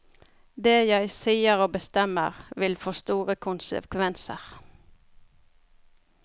Det jeg sier og bestemmer, vil få store konsekvenser.